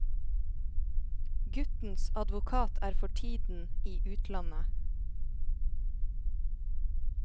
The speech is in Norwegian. Guttens advokat er for tiden i utlandet.